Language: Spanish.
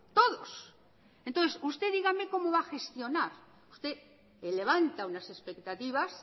todos entonces usted dígame cómo va a gestionar usted levanta unas expectativas